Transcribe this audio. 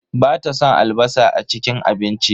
Bata son albasa a cikin abinci.